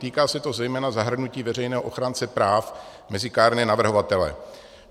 Týká se to zejména zahrnutí veřejného ochránce práv mezi kárné navrhovatele.